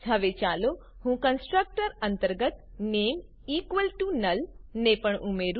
હવે ચાલો હું કંસ્ટ્રકટર અંતર્ગત નામે નુલ ને પણ ઉમેરું